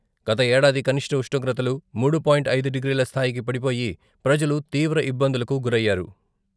గత ఏడాది కనిష్ట ఉష్ణోగ్రతలు మూడు పాయింట్ ఐదు డిగ్రీల స్థాయికి పడిపోయి ప్రజలు తీవ్ర ఇబ్బందులకు గరయ్యారు.